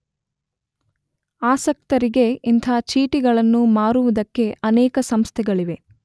ಆಸಕ್ತರಿಗೆ ಇಂಥ ಚೀಟಿಗಳನ್ನು ಮಾರುವುದಕ್ಕೇ ಅನೇಕ ಸಂಸ್ಥೆಗಳಿವೆ.